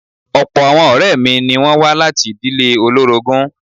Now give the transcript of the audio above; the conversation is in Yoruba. Ọ̀pọ̀ àwọn ọ̀rẹ́ mi ni wọ́n wá láti ìdíle olórogún.